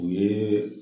U ye